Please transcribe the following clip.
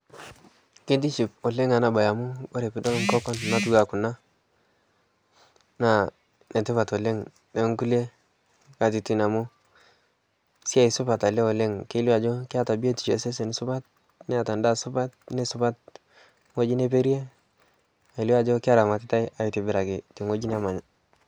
keitiship oleng anaa bai oleng amu kore piidol nkokon natuwaa kuna naa netipat oleng tenkulie katitin amu siai suoat alee oleng keilio ajo keata bitisho e sesen supat neata ndaa supat neisupat nghoji neperie neilio ajo keramatitai aitibiraki te nghojii nemanya